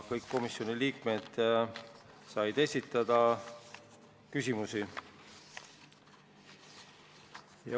Kõik komisjoni liikmed said esitada küsimusi.